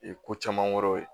ko caman wɛrɛw ye